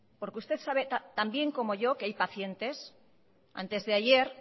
porque usted sabe también como yo que hay pacientes antes de ayer